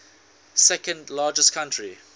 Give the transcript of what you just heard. second largest country